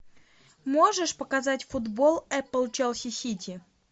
можешь показать футбол апл челси сити